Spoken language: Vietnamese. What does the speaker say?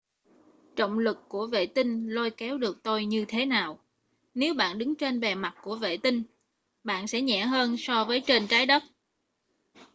trọng lực của vệ tinh lôi kéo được tôi như thế nào nếu bạn đứng trên bề mặt của vệ tinh bạn sẽ nhẹ hơn so với trên trái đất